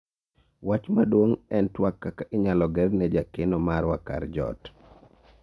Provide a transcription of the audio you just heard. wach maduong' en twak kaka inyalo ger ne jakeno marwa kar jot